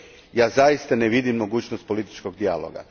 Ja zaista ne vidim mogućnost političkog dijaloga.